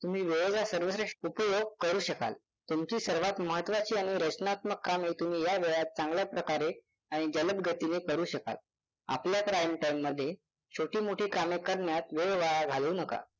तुम्ही वेळाचा सर्वश्रेष्ठ उपयोग करू शकाल तुमची सर्वात महत्वाची आणि रचनात्मक कामे तुम्ही या वेळात चांगल्या प्रकारे आणि जलद गतीने करू शकाल. आपल्या prime time मध्ये छोटी-मोठी कामे करण्यात वेळ वाया घालवू नका.